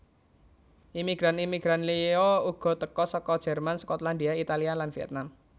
Imigran imigran liya uga teka saka Jerman Skotlandia Italia lan Vietnam